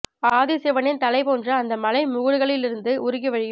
ஆதி சிவனின் தலை போன்ற அந்த மலை முகடுகளில் இருந்து உருகி வழியும்